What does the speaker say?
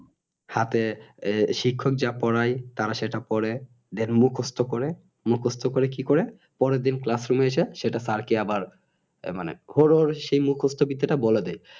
সাথে আহ শিক্ষক যা পড়াই তারা সেটাই পড়ে Then মুখস্ত করে মুখস্ত করে কি করে পরের দিন Classroom এসে সেটা স্যার কে আবার মানে হুড়হুড় সেই মুখস্ত বিদ্যাটা বলে দেয়